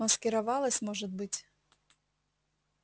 маскировалась может быть